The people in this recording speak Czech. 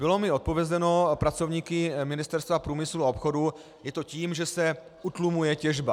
Bylo mi odpovězeno pracovníky Ministerstva průmyslu a obchodu: Je to tím, že se utlumuje těžba.